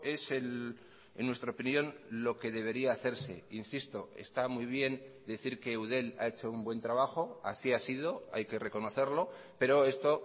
es en nuestra opinión lo que debería hacerse insisto está muy bien decir que eudel ha hecho un buen trabajo así ha sido hay que reconocerlo pero esto